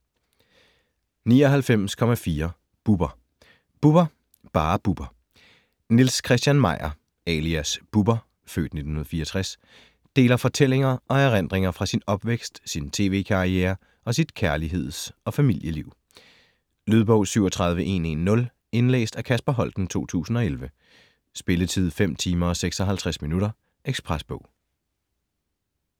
99.4 Bubber Bubber: Bare Bubber Niels Christian Meyer alias Bubber (f. 1964) deler fortællinger og erindringer fra sin opvækst, sin tv-karriere og sit kærligheds- og familieliv. Lydbog 37110 Indlæst af Kasper Holten, 2011. Spilletid: 5 timer, 56 minutter. Ekspresbog